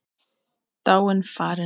Dáin, farin.